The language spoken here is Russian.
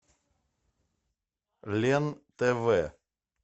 лен тв